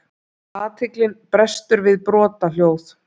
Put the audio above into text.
Athyglin brestur við brothljóð.